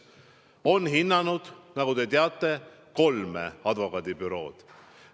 Nad on hinnanud, nagu te teate, kolme advokaadibürood.